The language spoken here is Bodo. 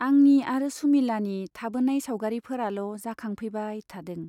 आंनि आरो सुमिलानि थाबोनाय सावगारिफोराल' जाखां फैबाय थादों।